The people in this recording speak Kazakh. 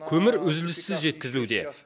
көмір үзіліссіз жеткізілуде